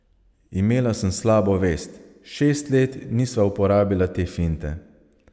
Imela sem slabo vest, šest let nisva uporabila te finte.